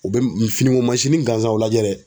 U bɛ finiko mansinnin gansanw o lajɛ dɛ.